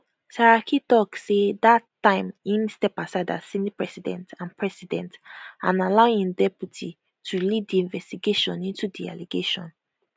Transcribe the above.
saraki tok say dat time im step aside as senate president and president and allow im deputy to lead di investigation into di allegation